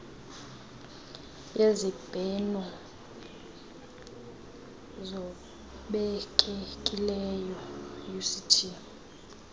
yezibheno ngobekekileyo uct